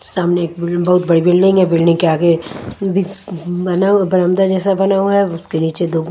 सामने एक बि बहोत बड़ी बिल्डिंग है बिल्डिंग के आगे बि बना हु बरामदा जैसा बना हुआ है उसके नीचे दो--